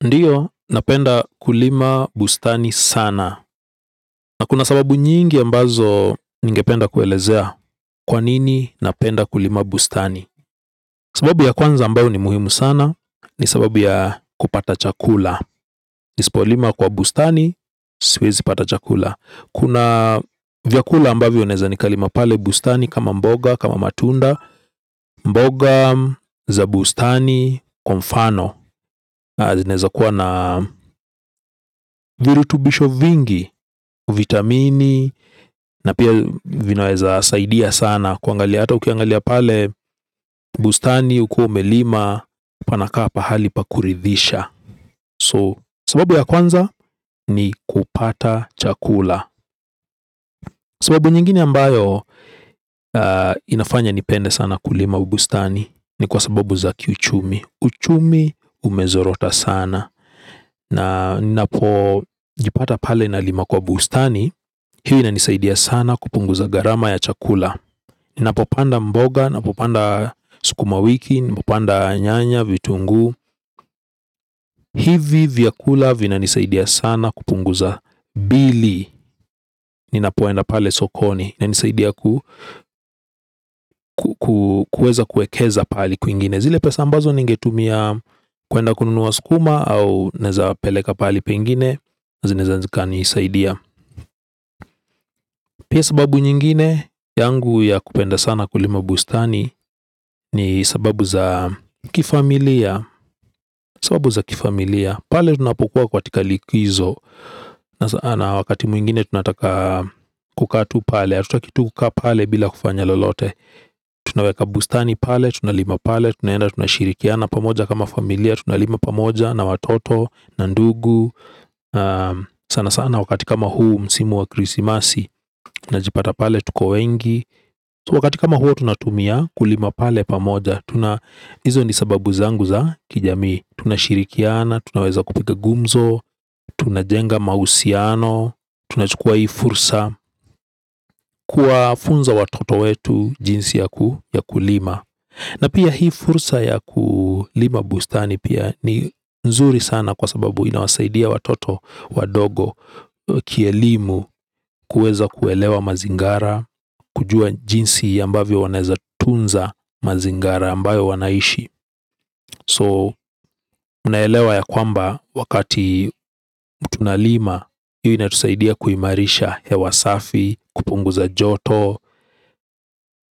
Ndiyo, napenda kulima bustani sana. Na kuna sababu nyingi ambazo ningependa kuelezea kwa nini napenda kulima bustani. Sababu ya kwanza ambayo ni muhimu sana. Ni sababu ya kupata chakula. Nisipo lima kwa bustani, siwezi pata chakula. Kuna vyakula ambavyo naeza nikalima pale bustani kama mboga, kama matunda. Mboga, za bustani, kwa mfano zinaeza kuwa na virutubisho vingi, vitamini. Na pia vinaweza saidia sana kuangalia hata ukiangalia pale bustani ukiwa umelima. Panakaa pahali pa kuridhisha So sababu ya kwanza ni kupata chakula. Sababu nyingine ambayo inafanya nipende sana kulima bustani. Ni kwa sababu za kiuchumi. Uchumi umezorota sana. Na ninapo jipata pale nalima kwa bustani. Hii inanisaidia sana kupunguza gharama ya chakula. Ninapopanda mboga, napopanda sukuma wiki, napopanda nyanya, vitunguu. Hivi vyakula vina nisaidia sana kupunguza bili. Ninapoenda pale sokoni inanisaidia kuweza kuekeza pahali kwingine. Zile pesa ambazo ningetumia kuenda kununua sukuma au naeza peleka pahali pengine zinaeze zikanisaidia. Pia sababu nyingine yangu ya kupenda sana kulima bustani. Ni sababu za kifamilia. Sababu za kifamilia pale tunapokuwa katika likizo. Na wakati mwingine tunataka kukaa tu pale hatutaki tu kukaa pale bila kufanya lolote. Tunaweka bustani pale. Tunalima pale. Tunaenda tunashirikiana pamoja kama familia. Tunalima pamoja na watoto. Na ndugu sana sana wakati kama huu msimu wa krisimasi, tunajipata pale tuko wengi, wakati kama huo tunatumia kulima pale pamoja, tuna, hizo ni sababu zangu za kijami, tunashirikiana tunaweza kupiga gumzo tunajenga mahusiano tunachukua hii fursa kuwafunza watoto wetu jinsi ya kulima na pia hii fursa ya kulima bustani pia ni nzuri sana kwa sababu inawasaidia watoto, wadogo kielimu, kuweza kuelewa mazingara, kujua jinsi ambavyo wanaeza tunza mazingara ambayo wanaishi so mnaelewa ya kwamba wakati tunalima hiyo inatusaidia kuimarisha hewa safi, kupunguza joto